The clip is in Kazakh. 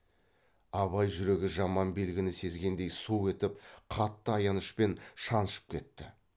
абай жүрегі жаман белгіні сезгендей су етіп қатты аянышпен шаншып кетті